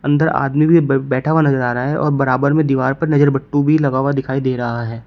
इधर आदमी भी ब बैठा हुआ नजर आ रहा है और बराबर में दीवार पर नजर बट्टू भी लगा हुआ दिखाई दे रहा है।